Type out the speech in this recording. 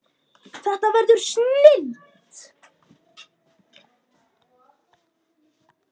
Þetta verður snilld